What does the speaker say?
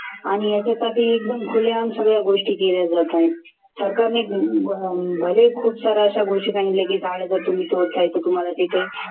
आणि याच्यासाठी एकदम खुलेआम सगळ्या गोष्टी केल्या जातायेत. सरकारने भले खुपसाऱ्याअशा घोषणा केल्या की झाड जर तुम्ही तोडता आहे तर तुम्हाला तिथे